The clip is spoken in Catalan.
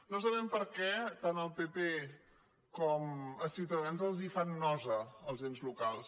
no sa·bem per què tant al pp com a ciutadans els fan nosa els ens locals